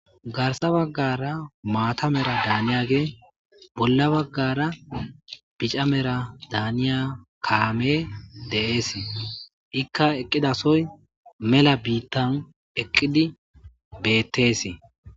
Garssa baggara maata mera daaniyage bolla baggara bica mera daaniya kaame de7eesi. Ikka eqqidasoy mela biittan eqqidi beettesi.